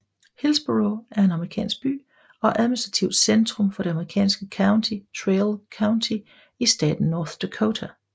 Hillsboro er en amerikansk by og administrativt centrum for det amerikanske county Traill County i staten North Dakota